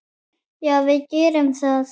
Já, við gerum það.